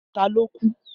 Ta ló kú?